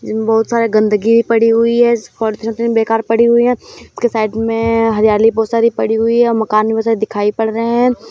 इसमें बहुत सारी गंदगी भी पड़ी हुई है बेकार पड़ी हुई है। उसके साइड में हरियाली बहुत सारी पड़ी हुई है। मकान वो सब दिखाई पड़ रहे हैं।